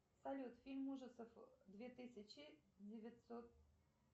салют фильм ужасов две тысячи девятьсот